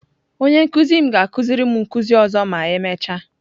Onye nkuzi m ga-akuziri m nkuzi ọzọ ma emechaa